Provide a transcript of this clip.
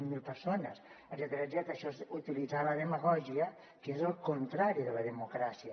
zero persones etcètera això és utilitzar la demagògia que és el contrari de la democràcia